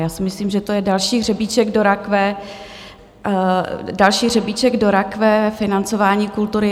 Já si myslím, že to je další hřebíček do rakve, další hřebíček do rakve financování kultury.